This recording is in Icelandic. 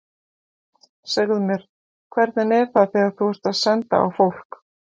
Segðu mér, hvernig er það þegar þú ert að senda á fólk.